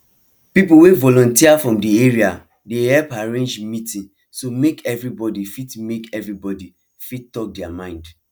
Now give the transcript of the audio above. people wey volunteer from de area dey help arrange meeting so make everybody fit make everybody fit talk their mind